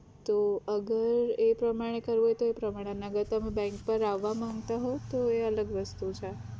તો અગર એ પ્રમાણે કરવું હોય તો એ પ્રમાણે નકર તમે bank પર આવા માંગતા હો તો એ અલગ વસ્તુ છે